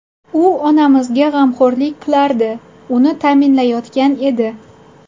U onamizga g‘amxo‘rlik qilardi, uni ta’minlayotgan edi.